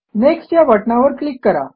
next या बटणावर click करा